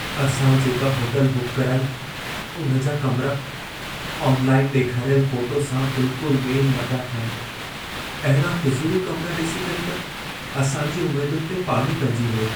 असां जेका hotel book कराई, उन जा कमरा, ऑनलाइन ॾेखारियल फ़ोटो सां बिलकुल मेल न पिया खाईनि। अहिड़ा फिज़ूल कमरा ॾिसी करे त असांजी उमेदुनि ते पाणी पेइजी वियो।